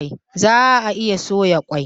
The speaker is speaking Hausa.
Zaa iya soya kwai